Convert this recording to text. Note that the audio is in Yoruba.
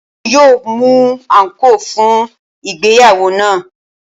Wọ́n yóò mú àǹkóò fún ìgbéyàwó náà.